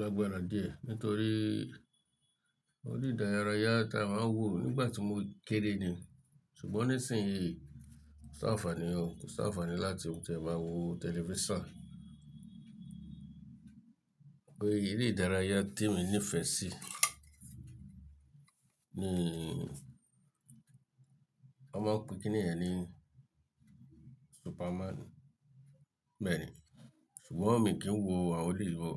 lágbára díẹ̀ nítorí ere ìdárayá ta máa ń wò nígbà tí mo kéré ni. Ṣùgbọ́n nísìnyí, ko sanfàní ò, kò sanfàní láti òún tẹ máa wo tẹlifísàn. Bóyá eré ìdárayá tí mo nífẹ̀ẹ́ sí ní, wọ́n máa ń pe kíní yẹn ní Superman, mẹ́rin. Ṣùgbọ́n mi kì í wo àwọn eleyi mo o.